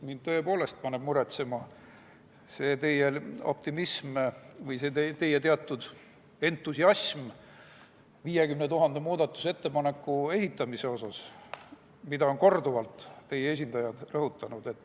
Mind paneb muretsema teie optimism või teie teatud entusiasm 50 000 muudatusettepaneku esitamise tõttu, mida on korduvalt teie esindajad rõhutanud.